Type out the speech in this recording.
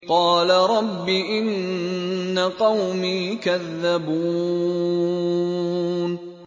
قَالَ رَبِّ إِنَّ قَوْمِي كَذَّبُونِ